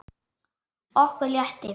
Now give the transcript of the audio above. Okkur létti.